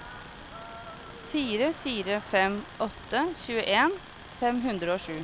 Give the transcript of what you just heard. fire fire fem åtte tjueen fem hundre og sju